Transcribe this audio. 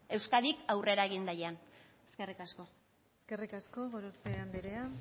euskadik aurrera egin daian eskerrik asko eskerrik asko gorospe andrea